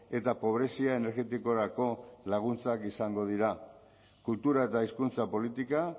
eta pobrezia energetikorako laguntzak izango dira kultura eta hizkuntza politika